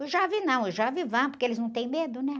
O jovem não, o jovem vai, porque eles não têm medo, né?